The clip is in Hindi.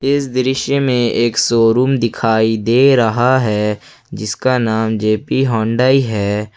इस दृश्य में एक शोरूम दिखाई दे रहा है जिसका नाम जे_पी हुंडई है।